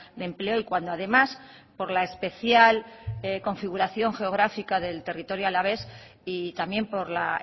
de empleo y cuando además por la especial configuración geográfico del territorio alavés y también por la